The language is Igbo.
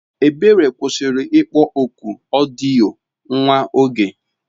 Ebere kwụsịrị ịkpọ oku odiyo nwa oge.